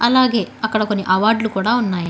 అలాగే అక్కడ కొన్ని అవార్డులు కూడా ఉన్నాయి.